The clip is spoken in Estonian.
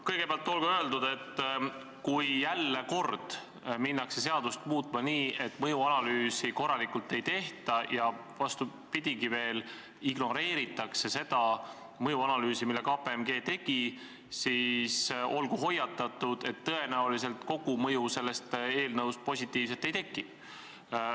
Kõigepealt olgu öeldud, et kui jälle hakatakse seadust muutma nii, et mõjuanalüüsi pole korralikult tehtud või isegi vastupidi, ignoreeritakse mõjuanalüüsi, mille KPMG tegi, siis olgu hoiatatud, et tõenäoliselt positiivset kogumõju ei teki.